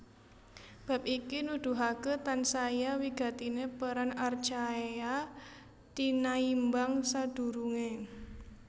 Bab iki nuduhaké tansaya wigatiné peran archaea tinaimbang sadurungé